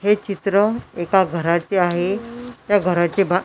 हे चित्र एका घराचे आहे त्या घराचे बा--